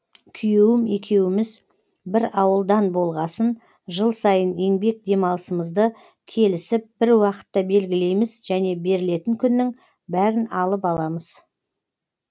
күйеуім екеуміз бір ауылдан болғасын жыл сайын еңбек демалысымызды келісіп бір уақытқа белгілейміз және берілетін күннің бәрін алып аламыз